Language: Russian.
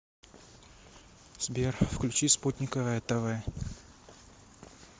сбер включи спутниковое тэ вэ